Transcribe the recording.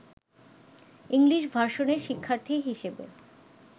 English ভার্সনের শিক্ষার্থী হিসেবে